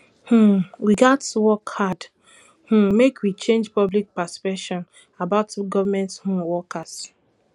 um we gats work hard um make we change public perception about government um workers